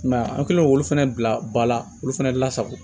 I m'a ye an kɛlen k'olu fana bila ba la olu fɛnɛ lasago